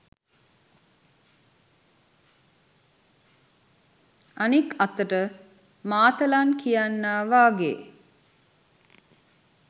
අනිත් අතට මාතලන් කියන්නා වගේ